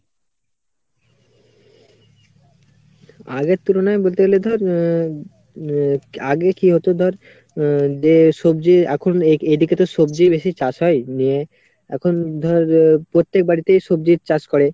আগের তুলনায় বলতে গেলে ধর আহ আহ আগে কি হতো ধর আহ যে সবজি এখন এদিকেতো সবজিই বেশি চাষ হয় নিয়ে। এখন ধর প্রত্যেক বাড়িতেই সবজির চাষ করে।